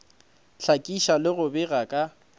hlakiša le go bega ka